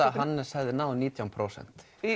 að Hannes hafi náð nítján prósent